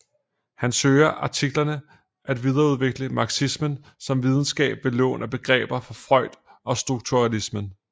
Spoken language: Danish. Han søger i artiklerne at videreudvikle marxismen som videnskab ved lån af begreber fra Freud og strukturalismen